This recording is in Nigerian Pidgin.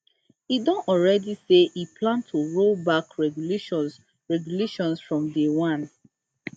e don already say e plan to roll back regulations regulations from day one